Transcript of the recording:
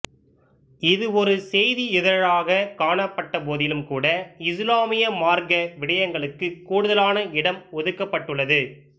இதுவொரு செய்தி இதழாகக் காணப்பட்டபோதிலும்கூட இசுலாமிய மார்க்க விடயங்களுக்கு கூடுதலான இடம் ஒதுக்கப்பட்டுள்ளது